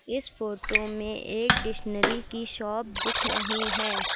इस फोटो में एक डिशनरी की शॉप दिख रही हैं।